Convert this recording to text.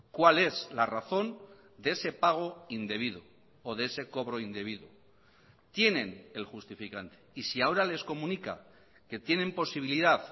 cuál es la razón de ese pago indebido o de ese cobro indebido tienen el justificante y si ahora les comunica que tienen posibilidad